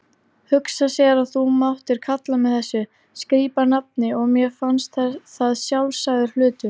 Hugsa sér að þú máttir kalla mig þessu skrípanafni og mér fannst það sjálfsagður hlutur.